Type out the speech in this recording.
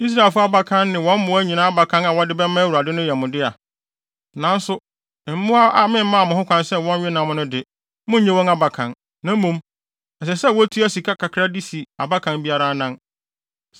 Israelfo abakan ne wɔn mmoa nyinaa abakan a wɔde bɛma Awurade no yɛ mo dea. Nanso mmoa a memmaa mo kwan sɛ wɔnwe wɔn nam no de, munnnye wɔn abakan. Na mmom, ɛsɛ sɛ wotua sika kakra de si abakan biara anan.